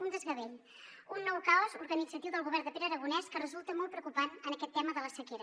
un desgavell un nou caos organitzatiu del govern de pere aragonès que resulta molt preocupant en aquest tema de la sequera